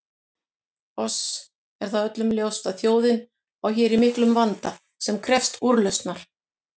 Oss er það öllum ljóst að þjóðin á hér í miklum vanda sem krefst úrlausnar.